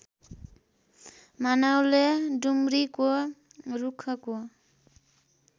मानवले डुम्रीको रूखको